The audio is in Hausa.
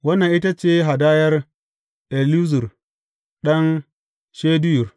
Wannan ita ce hadayar Elizur ɗan Shedeyur.